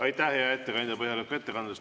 Aitäh, hea ettekandja, põhjaliku ettekande eest!